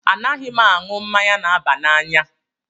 Anaghị m aṅụ mmanya na-aba n'anya